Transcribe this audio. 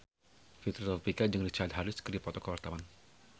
Fitri Tropika jeung Richard Harris keur dipoto ku wartawan